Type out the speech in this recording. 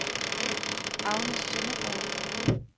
Agnes Søndergaard